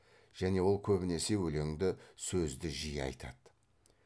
және ол көбінесе өлеңді сөзді жиі айтады